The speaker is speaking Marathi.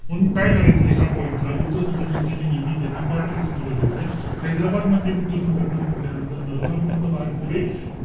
म्हणून काय करायचं या point ला. गुप्त संघटनेचे जे नियमित आहे ना ते पाठच असणं गरजेचंय. हैदराबाद मधली गुप्त संघटना म्हण्टल्यानंतर नरहर पंत घारपुरे,